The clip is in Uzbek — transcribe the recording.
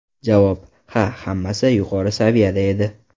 Javob: Ha, hammasi yuqori saviyada edi.